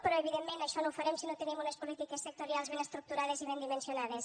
però evidentment això no ho farem si no tenim unes polítiques sectorials ben estructurades i ben dimensionades